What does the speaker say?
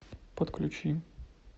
подключи